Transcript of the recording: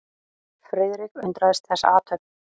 Friðrik undraðist þessa athöfn.